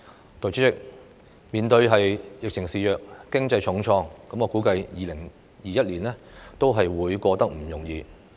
代理主席，面對疫情肆虐、經濟重創，我估計2021年不會過得容易。